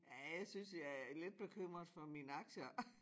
Ja jeg synes jeg er lidt bekymret for mine aktier